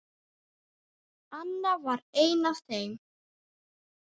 Anna var ein af þeim.